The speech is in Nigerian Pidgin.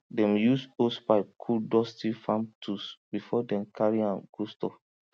dem use hosepipe cool dusty farm tools before dem carry am go store